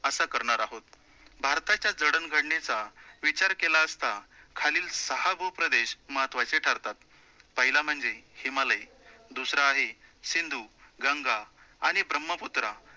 असं करणार आहोत, भारताच्या जडणघडनेचा विचार केला असता. खालील सहा भूप्रदेश महत्वाचे ठरतात. पहिला म्हणजे हिमालय, दूसरा आहे सिंधु, गंगा आणि ब्रह्मपुत्रा